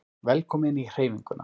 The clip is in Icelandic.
Velkomin í Hreyfinguna